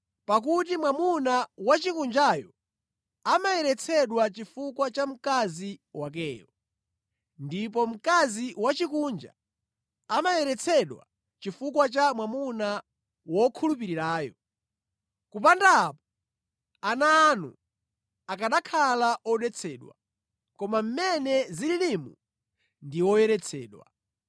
Pakuti mwamuna wosakhulupirirayo amayeretsedwa chifukwa cha mkazi wakeyo, ndipo mkazi wosakhulupirira amayeretsedwa chifukwa cha mwamuna wokhulupirirayo. Kupanda apo ana anu akanakhala odetsedwa, koma mmene zililimu ndi oyeretsedwa.